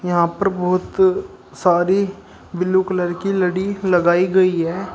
यहां पर बहुत सारी ब्लू कलर की लड़ी लगाई गई है।